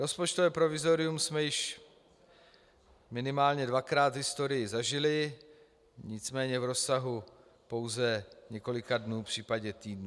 Rozpočtové provizorium jsme již minimálně dvakrát v historii zažili, nicméně v rozsahu pouze několika dnů, případně týdnů.